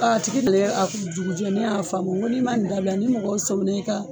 A tigi nana a jugujɛ ne y'a fa f'a ma n ko n'i ma nin dabila ni mɔgɔ sɔmin'e ka